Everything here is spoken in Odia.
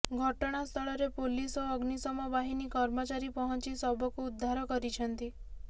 ଘଟଣାସ୍ଥଳରେ ପୋଲିସ ଓ ଅଗ୍ନିଶମ ବାହିନୀ କର୍ମଚାରୀ ପହଞ୍ଚି ଶବକୁ ଉଦ୍ଧାର କରିଛନ୍ତି